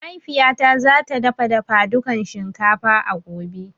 Mahaifiya ta za ta dafa dafadukan shinkafa a gobe